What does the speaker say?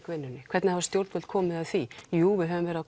vinnunni hvernig hafa stjórnvöld komið að því jú við höfum verið